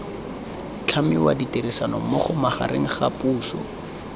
tlhamiwa ditirisanommogo magareng ga puso